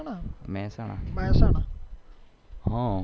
Mehsana